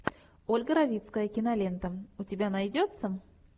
ольга равицкая кинолента у тебя найдется